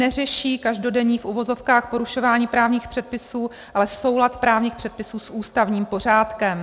Neřeší každodenní v uvozovkách porušování právních předpisů, ale soulad právních předpisů s ústavním pořádkem.